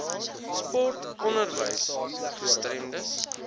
sport onderwys gestremdes